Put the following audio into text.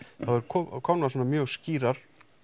eru komnar svona mjög skýrar